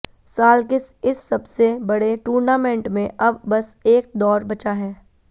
साल के इस सबसे बड़े टूर्नामेंट में अब बस एक दौर बचा है